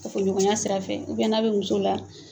Kafoɲɔgɔnya sira fɛ n'a bɛ muso la